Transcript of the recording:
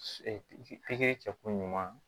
pikiri kɛkun ɲuman